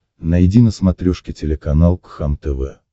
найди на смотрешке телеканал кхлм тв